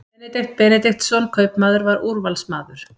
Benedikt Benediktsson kaupmaður var úrvalsmaður.